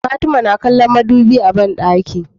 Fatima na kallon mudubi a banɗaki